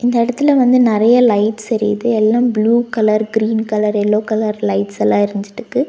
இந்த எடத்துல வந்து நெறைய லைட்ஸ் எரியிது எல்லா blue colour green colour yellow colour லைட்ஸ்லாம் எரிஞ்சிட்ருக்கு.